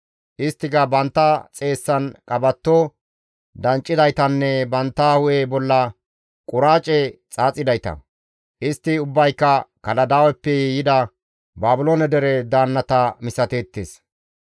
Isttika bantta xeessan qabatto danccidaytanne bantta hu7e bolla quraace xaaxidayta. Istti ubbayka Kaladaaweppe yida Baabiloone dere daannata misateettes.